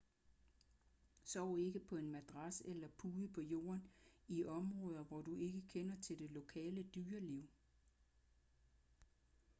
sov ikke på en madras eller pude på jorden i områder hvor du ikke kender til det lokale dyreliv